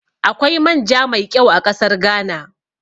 Akwai man ja mai ƙyau a ƙasar Ghana